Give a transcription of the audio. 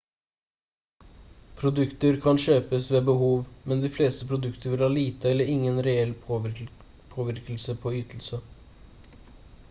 produkter kan kjøpes ved behov men de fleste produkter vil ha lite eller ingen reell påvirkning på ytelse